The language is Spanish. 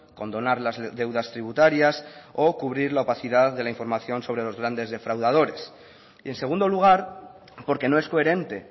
condonar las deudas tributarias o cubrir la opacidad de la información sobre los grandes defraudadores y en segundo lugar porque no es coherente